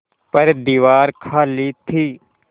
पर दीवार खाली थी